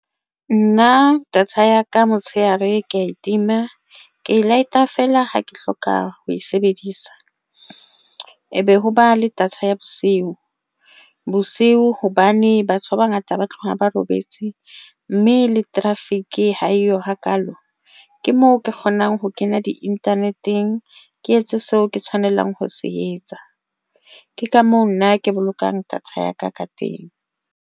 Nna data ya ka motshehare ke ya e tima ke e light-a feela ha ke hloka ho e sebedisa e be ho ba le data ya bosiu, bosiu hobane batho ba bangata ba tloha ba robetse mme le traffic haeyo hakalo ke moo ke kgonang ho kena di-internet-eng. Ke etse seo ke tshwanelang ho se etsa, ke ka moo nna ke bolokang data ya ka ka teng.